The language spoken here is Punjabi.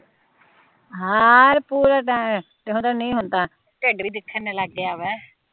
ਹਮ ਇਹ ਪੂਰੇ ਟਾਇਮ ਹੁਣ ਤਾਂ ਢਿੱਡ ਵੀ ਦਿੱਖਣ ਲੱਗ ਗਿਆ ਹੈ